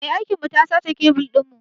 Mai aikin mu ta sace kebil ɗin.